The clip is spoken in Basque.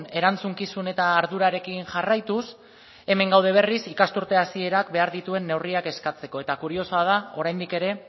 erantzukizun eta ardurarekin jarraituz hemen gaude berriz ikasturte hasierak behar dituen neurriak eskatzeko eta kuriosoa da oraindik ere